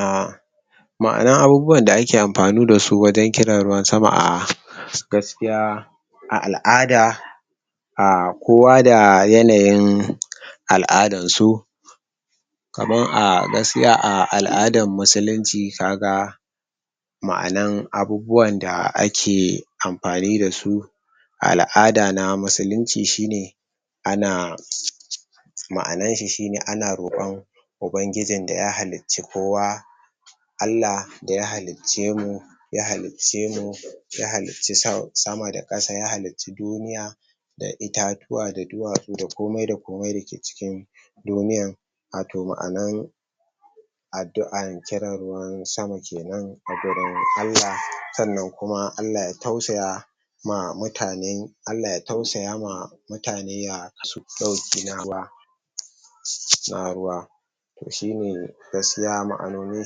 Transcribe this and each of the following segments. um ma'anar abubuwan da ake amfani dasu wajen kiran ruwan sama a gaskiya a al'ada um kowa da yanayin al'adansu kamar a gaskiya a al'adan musulunci kaga ma'anar abubuwan da ake amfani dasu a al'ada na musulunci shine ana ma'anarshi shine ana roƙon ubangijin da ya halicci kowa Allah da ya halicce mu ya halicce mu ya halicci sa sama da ƙasa, ya halicci duniya da itatuwa da duwatsu da komai da komai da ke cikin duniyar wato ma'anar addu'ar kiran ruwan sama kenan a gurin Allah, sannan kuma Allah ya tausaya ma mutanen Allah ya tausaya ma mutane ya kawo musu ɗauki na ruwa su na ruwa to shine gaskiya ma'anonin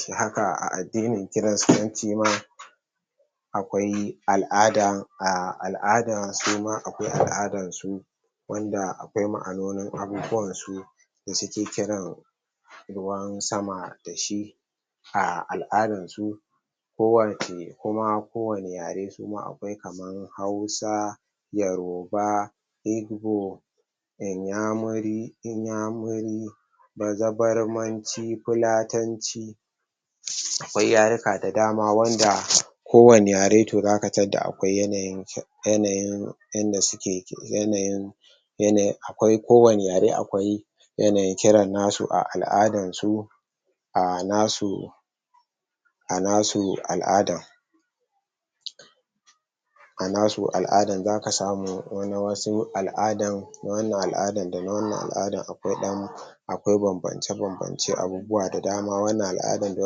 shi haka a addinin kiristanci ma akwai al'ada. A al'ada suma akwai al'adarsu wanda akwai ma'anonin abubuwansu da suke kiran ruwan sama dashi a al'adansu ko wani kuma ko wane yare su ma akwai, kamar hausa, yaroba igbo inyamuri inyamuri bazabarmanci fulatanci akwai yaruka da dama wanda kowane yare to zaka tadda akwai yanayin yanayin yadda suke yanayin yanayin akwai, ko wane yare akwai yanayin kiran nasu a al'adarsu ah nasu a nasu al'adan a nasu al'adan, zaka samu wani na wasu al'adan na wannan al'adan da wannan al'adan akwai ɗan akwai banbance-banbance abubuwa da dama, wannan al'adan da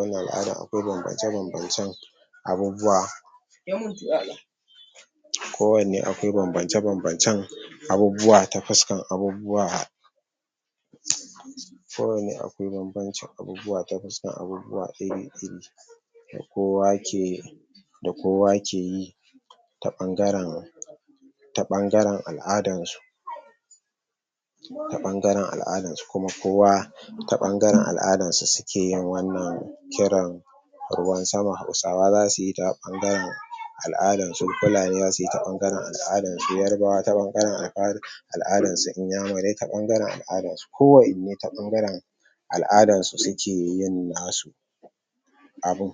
wannan al'adan akwai banbance-bancen abubuwa ko wanne akwai banbance-banbancen abubuwa ta fuskan abubuwa ko wanne akwai banbancin abubuwa ta fuskar abubuwa iri-iri da kowa ke da kowa keyi ta ɓangaren ta ɓangaren al'adansu ta ɓangaren al'adansu kuma kowa ta ɓangaren al'adansu sukeyin wannan kiran ruwan sama, hausawa zasuyi ta ɓangaren al'adansu, fulani zasuyi ta ɓangaren al'adansu, yarbawa ta ɓangaren al'ad al'adansu, inyamurai ta ɓangaren al'adansu ko wa inne ta ɓangaren al'adansu sukeyin nasu abun.